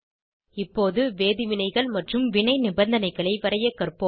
இப்போது வேதி வினைகள் மற்றும் வினை நிபந்தனைகளை வரையக் கற்போம்